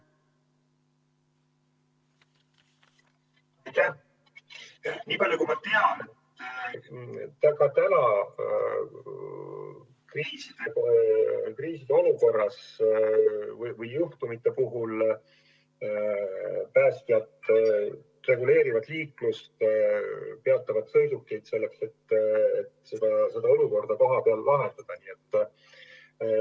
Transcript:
Nii palju kui ma tean, kriisiolukorras või eriliste juhtumite puhul päästjad reguleerivad liiklust ja peatavad sõidukeid, et olukorda kohapeal lahendada.